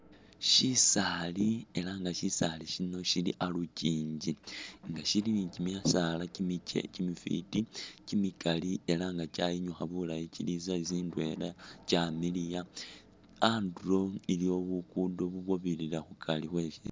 Shisaali ela nga shisaali shino shili alukingi nga shili ni kimisaala kimifiti kimikali ela nga kyayinyukha bulayi kili i size ndwela kyamiliya andulo iliwo bukudo bubwabirira khukari khwe